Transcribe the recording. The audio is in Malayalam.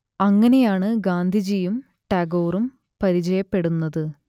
അങ്ങനെയാണ് ഗാന്ധിജിയും ടാഗോറും പരിചയപ്പെടുന്നത്